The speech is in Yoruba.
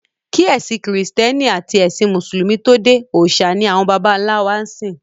Kí ẹ̀sìn kìrìsìtẹ́nì àti ẹ̀sìn mùsùlùmí tó dé, òòṣà ni àwọn bàbá ńlá wa ń sìn.